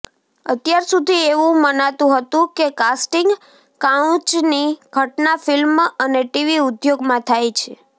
અત્યાર સુધી એવું મનાતુ હતુ કે કાસ્ટિંગ કાઉચની ઘટના ફિલ્મ અને ટીવી ઉદ્યોગમાં થાય છે